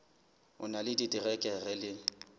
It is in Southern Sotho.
o na le diterekere le